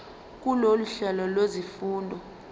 kulolu hlelo lwezifundo